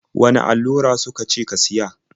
Wane allura su ka ce ka siya?